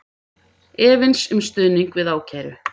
Efins um stuðning við ákæru